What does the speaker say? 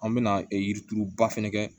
An bɛ na yirituruba fɛnɛ kɛ